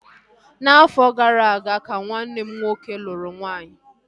Afọ gara aga ka nwanne m nwoke lụrụ nwaanyị